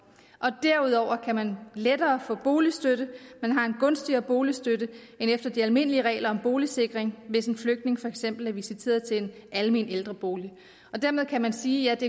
derudover kan man lettere få boligstøtte man har en gunstigere boligstøtte end efter de almindelige regler om boligsikring hvis en flygtning for eksempel er visiteret til en almen ældrebolig dermed kan man sige at det